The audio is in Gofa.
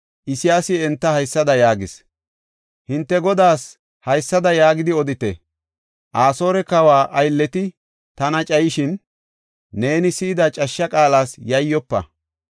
Isayaasi enta haysada yaagis; “Hinte godaas haysada yaagidi odite; ‘Asoore kawa aylleti tana cayishin, neeni si7ida cashsha qaalas yayyofa.